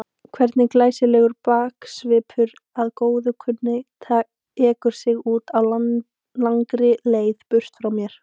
Hvernig glæsilegur baksvipur að góðu kunnur tekur sig út á langri leið burt frá mér.